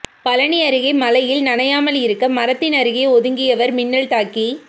பழனி அருகே மழையில் நனையாமல் இருக்க மரத்தின் அருகே ஒதுங்கியவர் மின்னல் தாக்கி